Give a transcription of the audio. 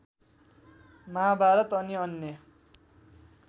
महाभारत अनि अन्य